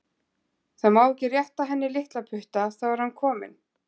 Það má ekki rétta að henni litlaputta, þá er hann kominn.